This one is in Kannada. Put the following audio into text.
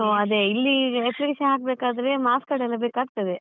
ಓಹ್ ಅದೇ ಇಲ್ಲಿ application ಹಾಕ್ಬೇಕಾದ್ರೆ marks card ಎಲ್ಲ ಬೇಕಾಗ್ತದೆ.